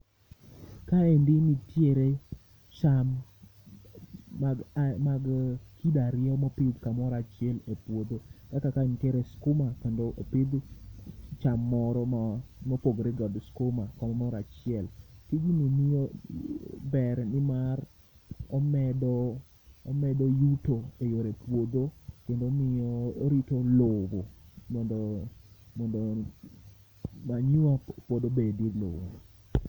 Ka endi nitiere cham mag kido ariyo ma opidh kamoro achiel e puodho kaka ka nitiere skuma kendo pidh cham moro mo pogore ga gi skuma kamoro achiel tijni ber ni mar omedo yuto e yore puodho kendo omiyo, orito lowo mondo manyiwa pod obed e lowo.